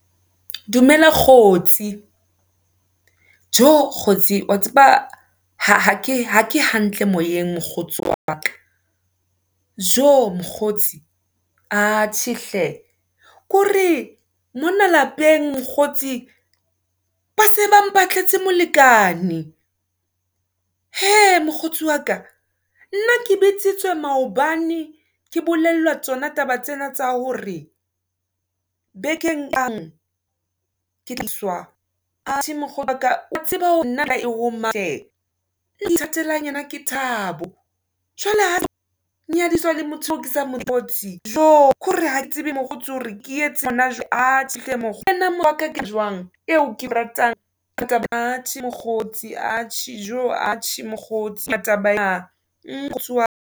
Dumela kgotsi, tjo kgotsi wa tseba, ha ke hantle moyeng mokgotsi wa ka. Tjo mokgotsi, atjhe hle, ke hore, mona lapeng mokgotsi, ba se ba mpatletse molekane. Hee, mokgotsi waka, nna ke bitsitswe maobane, ke bolellwa tsona taba tsena tsa hore, bekeng , ke iswa, atjhe mokgotsi waka, wa tseba nna . Eo ke ithateleng yena ke Thabo. Jwale ha nyadiswa le motho oe ke sa mokgotsi. TJo kore hake tsebe mokgotsi hore ke etseng , atjhe hle , ke jwang, eo ke ratang atjhe mokgotsi, atjhe tjo, atjhe mokgotsi ka taba ya .